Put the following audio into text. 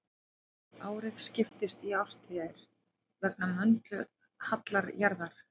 Árið skiptist í árstíðir vegna möndulhalla jarðar.